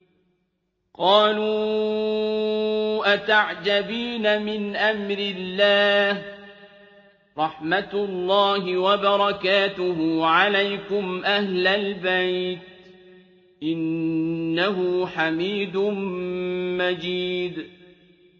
قَالُوا أَتَعْجَبِينَ مِنْ أَمْرِ اللَّهِ ۖ رَحْمَتُ اللَّهِ وَبَرَكَاتُهُ عَلَيْكُمْ أَهْلَ الْبَيْتِ ۚ إِنَّهُ حَمِيدٌ مَّجِيدٌ